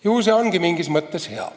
Küllap see ongi mingis mõttes hea.